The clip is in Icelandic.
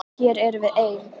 Og hér erum við enn.